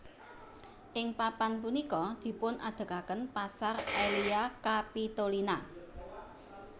Ing papan punika dipunadegaken pasar Aelia Capitolina